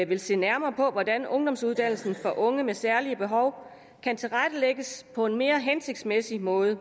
vil se nærmere på hvordan ungdomsuddannelsen for unge med særlige behov kan tilrettelægges på en mere hensigtsmæssig måde